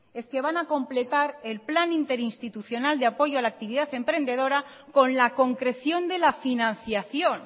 es que van a completar el plan interinstitucional de apoyo a la actividad emprendedora con la concreción de la financiación